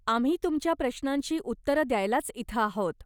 आम्ही तुमच्या प्रश्नांची उत्तरं द्यायलाच इथं आहोत.